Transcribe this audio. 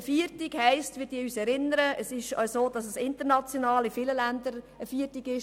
Wir erinnern uns, dass der Erste Mai in vielen Ländern ein Feiertag ist.